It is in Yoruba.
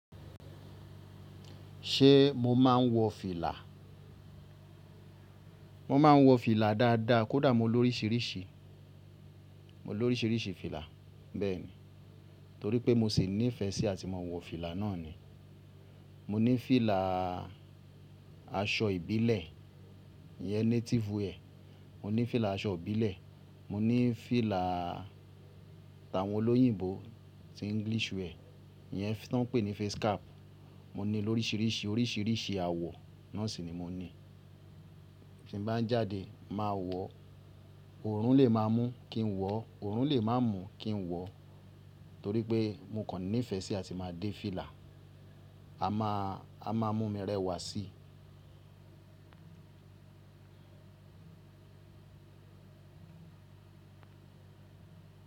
Ṣé mo máa ń wọ fìlà? Mo máa ń wọ fìlà dáadáa, kódà mo ló oríṣìíríṣìí, mo ló oríṣìíríṣìí fìlà bẹ́ẹ̀ ni. Torí pé mo sì ní ìfẹ́ sí àti mo wọ fìlà náà ni. Mo ní fìlà aṣọ ìbílẹ̀, ìyẹn native ẹ̀. Mo ní fìlà aṣọ ìbílẹ̀, mo ní fìlà àwọn olóyìnbo tí English rẹ̀, ìyẹn tí wọ́n ń pè ní face cap. Mo ní ló oríṣìíríṣìí, oríṣìíríṣìí àwọ̀, náà sì ni mo ní. Bí mo bá ń jáde máa wọ̀, òórùn lè má mú kí n wọ, òórùn lè má mú kí n wọ, torí pé mo kàn ní ìfẹ́ sí àti máa dé fìlà, a máa, a máa mú mi rẹwà sí i.